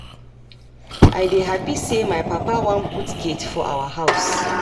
I dey happy say my papa wan put gate for our house